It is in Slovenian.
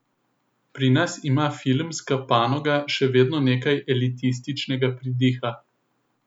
Pri nas ima filmska panoga še vedno nekaj elitističnega pridiha.